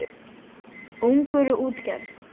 Ungur í útgerð